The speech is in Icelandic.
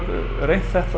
reynt þetta